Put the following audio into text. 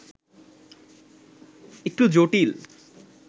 একটু জটিল